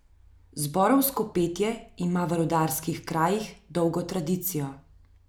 Zborovsko petje ima v rudarskih krajih dolgo tradicijo.